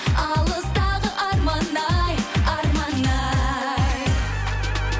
алыстағы арман ай арман ай